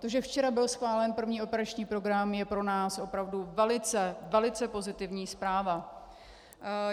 To, že včera byl schválen první operační program, je pro nás opravdu velice, velice pozitivní zpráva.